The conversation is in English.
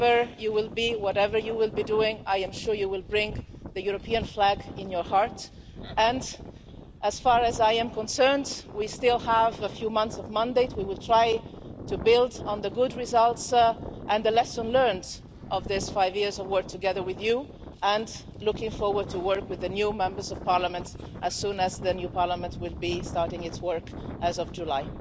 Wherever you will be, whatever you will be doing, I am sure you will bring the European flag in your heart and, as far as I am concerned, we still have a few months of mandate, we will try to build on the good results and the lessons learned from these five years of work together with you, and looking forward to working with the new Members of Parliament as soon as the new Parliament will start its work as of July.